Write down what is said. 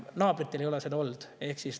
Naabritel ei ole seda olnud.